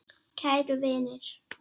Kæru vinir!